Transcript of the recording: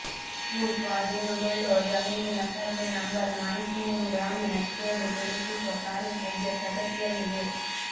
ಭೂಸ್ವಾಧೀನಗೊಳ್ಳುವ ಜಮೀನಿನ survey number ಮಾಹಿತಿಯನ್ನು ಗ್ರಾಮ ನಕ್ಷೆಯಲ್ಲಿ ಗುರುತಿಸುವ ಕಾರ್ಯ ಸದ್ಯ ಪ್ರಗತಿಯಲ್ಲಿದೆ